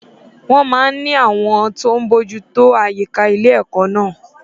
Wọ́n máa n ní àwọn tó n bójú tó àyíká ilé ẹkọ naa